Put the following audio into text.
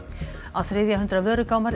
á þriðja hundrað